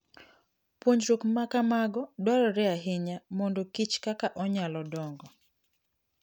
Puonjruok ma kamago dwarore ahinya mondo kich kaka onyalo dongo.